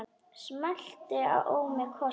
Smellti á mig kossi.